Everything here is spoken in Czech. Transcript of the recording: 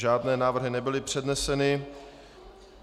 Žádné návrhy nebyly předneseny.